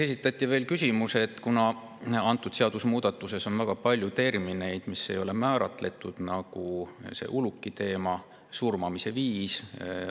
Esitati veel küsimusi, kuna seadusemuudatuses on väga palju termineid, mis ei ole määratletud, nagu see ulukiteema ja surmamise viis.